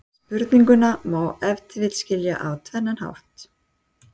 Spurninguna má ef til vill skilja á tvennan hátt.